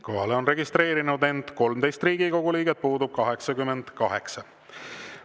Kohalolijaks on end registreerinud 13 Riigikogu liiget, puudub 88.